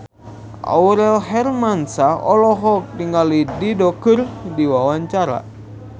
Aurel Hermansyah olohok ningali Dido keur diwawancara